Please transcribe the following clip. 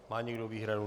Má někdo výhradu?